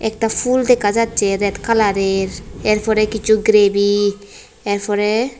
একটা ফুল দেকা যাচ্ছে রেত কালারের এরপরে কিছু গ্রেবি এরফরে --